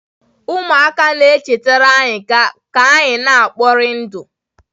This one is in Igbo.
Ụmụaka na-echetara anyị ka anyị na-ekpori ndụ.